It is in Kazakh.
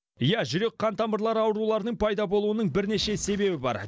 иә жүрек қан тамырлары ауруларының пайда болуының бірнеше себебі бар